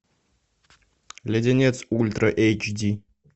леденец ультра эйч ди